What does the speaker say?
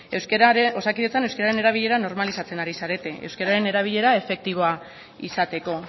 osakidetzan euskararen erabilera normalizatzen ari zarete euskararen erabilera efektiboa izateko